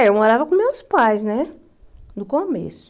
Eh eu morava com meus pais né, no começo.